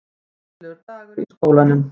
Skemmtilegur dagur í skólanum!